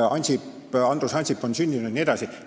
Andrus Ansip on sel päeval sündinud jne.